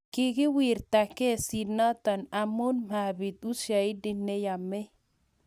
Kikiwirta kesinoto amu mabiit ushahidi ne yamei